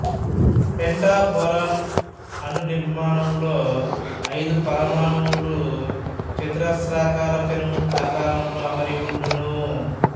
pentaborane అణునిర్మాణంలో అయిదు పరమాణువులు చతురాస్రాకార పిరమిడ్ ఆకారంలో అమరి ఉండును